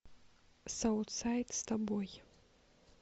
саутсайд с тобой